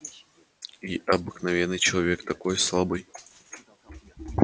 и обыкновенный человек такой слабый